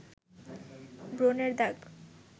ব্রণের দাগ